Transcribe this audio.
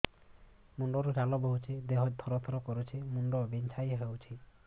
ମୁଣ୍ଡ ରୁ ଝାଳ ବହୁଛି ଦେହ ତର ତର କରୁଛି ମୁଣ୍ଡ ବିଞ୍ଛାଇ ହଉଛି